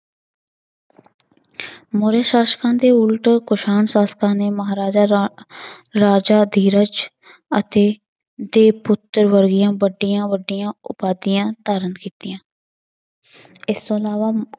ਮੌਰੀਆ ਸ਼ਾਸ਼ਕਾਂ ਦੇ ਉਲਟ ਕੁਸ਼ਾਣ ਸ਼ਾਸ਼ਕਾਂ ਨੇ ਮਹਾਰਾਜ ਰਾ~ ਰਾਜਾ ਅਧੀਰਜ ਅਤੇ ਦੇ ਪੁੱਤਰ ਵੱਡੀਆਂ ਵੱਡੀਆਂ ਉਪਾਧੀਆਂ ਧਾਰਨ ਕੀਤੀਆਂ ਇਸ ਤੋਂ ਇਲਾਵਾ